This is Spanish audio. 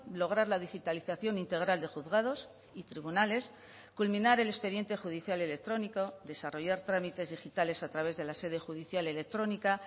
lograr la digitalización integral de juzgados y tribunales culminar el expediente judicial electrónico desarrollar trámites digitales a través de la sede judicial electrónica